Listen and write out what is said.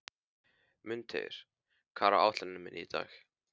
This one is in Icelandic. Mundheiður, hvað er á áætluninni minni í dag?